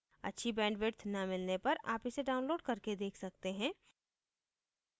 अच्छी bandwidth न मिलने पर आप इसे download करके देख सकते हैं